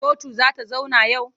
Kotu za ta zauna yau?